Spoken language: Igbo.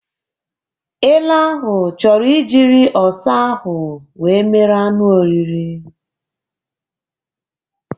Ele ahụ chọrọ ijịrị ọsa ahụ wee mere anụ oriri